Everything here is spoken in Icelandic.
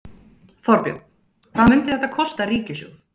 Þorbjörn: Hvað myndi þetta kosta ríkissjóð?